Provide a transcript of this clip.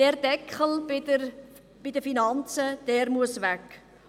Dieser Deckel bei den Finanzen muss weg.